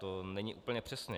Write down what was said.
To není úplně přesně.